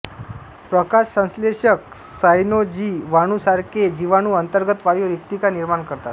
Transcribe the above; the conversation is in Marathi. प्रकाशसंश्लेषक सायनोजीवाणूसारखे जीवाणू अंतर्गत वायू रिक्तिका निर्माण करतात